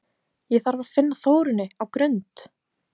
Ég þarf að finna Þórunni á Grund!